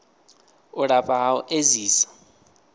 u lafha ha u edzisa